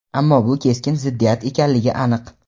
ammo bu keskin ziddiyat ekanligi aniq.